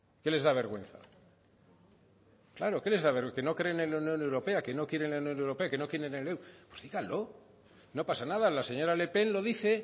qué les da vergüenza claro qué les da que no creen en la unión europea que no quieren la unión europea que no quieren el euro pues díganlo no pasa nada la señora le pen lo dice